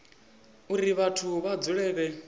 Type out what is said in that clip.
uri vhathu vha dzule vhe